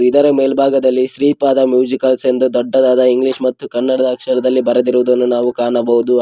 ಇದರ ಮೇಲ್ಭಾಗದಲ್ಲಿ ಶ್ರೀಪಾದ ಮ್ಯೂಸಿಕಲ್ಸ್ ಎಂದು ದೊಡ್ಡದಾದ ಇಂಗ್ಲಿಷ್ ಮತ್ತು ಕನ್ನಡದ ಅಕ್ಷರದಲ್ಲಿ ಬರೆದಿರುವುದನ್ನು ನಾವು ಕಾಣಬಹುದು.